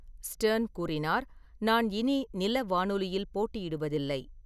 Stern கூறினார், "நான் இனி நில வானொலியில் போட்டியிடுவதில்லை."